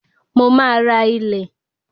Mo máa ra ilẹ̀